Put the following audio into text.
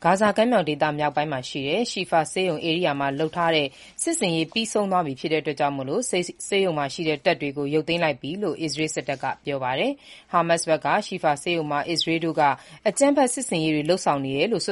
ါဇာကမ်းမြောင်ဒေသမြောက်ပိုင်း ရှီဖာဆေးရုံကို သီတင်း နှစ်ပတ်ကြာ ၀င်ရောက်စီးနင်းပြီးတဲ့နောက် သူတို့ တပ်တွေ ပြန်ရုပ်သိမ်းလိုက်ပြီလို့ အစ္စရေး စစ်တပ်က ဒီကနေ့ ကြေညာပါတယ်။ ဟာမတ်စ်ဘက်ကတော့ ရှီဖာဆေးရုံ ကို အစ္စရေးတို့က အကြမ်းဖက် စစ်ဆင်ရေး လုပ်ဆောင်နေတယ်ဆိ